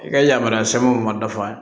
I ka yamaruya sɛbɛnw ma dafa